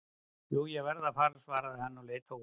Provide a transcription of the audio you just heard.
Jú, ég verð að fara svaraði hann og leit á úrið.